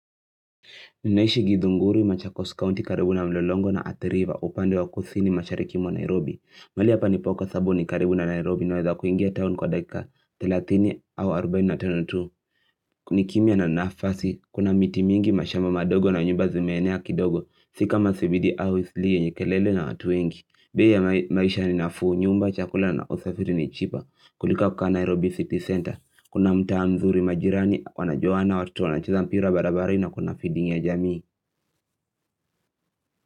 Ninaishi githunguru machakosi kaunti karibu na mlelongo na atiriva upande wa kusini mashariki mwa Nairobi mali hapa nipo kwa sabu ni karibu na Nairobi niweza kuingia town kwa dakika 30 au 42 ni kimya na nafasi, kuna miti mingi mashamba madogo na nyumba zimeenea kidogo Si kama sibidi au isliye yenye kelele na watu wengi bei ya maisha ni nafu, nyumba, chakula na usafiri ni chipa kuliko ya kukaa Nairobi City Center Kuna mtaa mzuri majirani, wanajuwana, watoto wanacheza mpira barabarani na kuna feeding ya jamii.